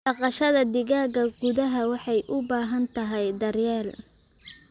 Dhaqashada digaaga gudaha waxay u baahan tahay daryeel.